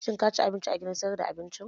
Shin ka ci abinci a gidan sayar da abincin?